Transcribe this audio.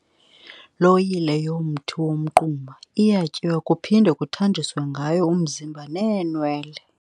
loyile yomthi womquma iyatyiwa kuphinde kuthanjiswe ngayo umzimba neenwele.